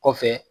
Kɔfɛ